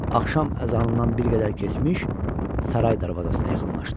Axşam əzanından bir qədər keçmiş saray darvazasına yaxınlaşdı.